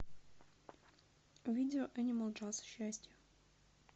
видео энимал джаз счастье